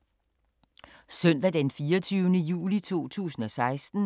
Søndag d. 24. juli 2016